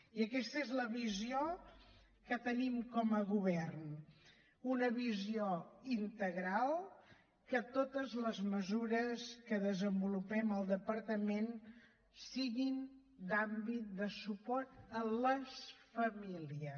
i aquesta és la visió que en tenim com a govern una visió integral que totes les mesures que desenvolupem al departament siguin d’àmbit de suport a les famílies